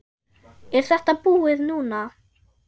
Er þetta búið núna?